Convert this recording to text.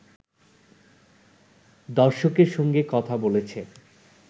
দর্শকের সঙ্গে কথা বলেছে